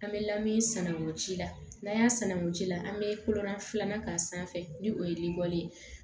An bɛ lamini sanangosi la n'an y'a sanangun ci la an bɛ kolonda filanan k'a sanfɛ ni o ye likɔlo ye